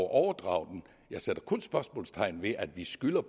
overdrage den jeg sætter kun spørgsmålstegn ved at vi skylder